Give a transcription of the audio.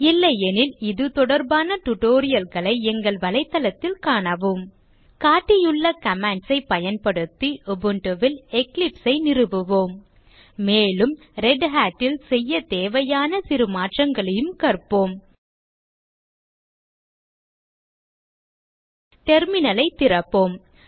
இல்லையெனில் இது தொடர்பான tutorial களை எங்கள் தளத்தில் காணவும் காட்டியுள்ள commands ஐ பயன்படுத்தி Ubuntu ல் Eclipse ஐ நிறுவுவோம் மேலும் Redhat ல் செய்ய தேவையான சிறு மாற்றங்களையும் கற்போம் terminal ஐ திறப்போம்